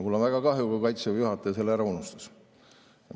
Mul on väga kahju, kui Kaitseväe juhataja selle ära unustas.